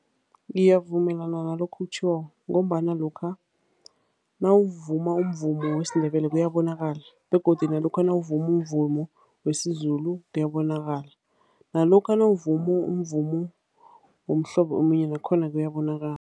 Ngiyavumelana nalokha okutjhoko ngombana lokha nawuvuma umvumo wesiNdebele kuyabonakala begodu nalokha nawuvuma umvumo wesiZulu kuyabonakala. Nalokha nawuvuma umvumo womhlobo omunye nakhona kuyabonakala.